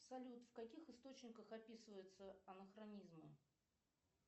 салют в каких источниках описываются анахронизмы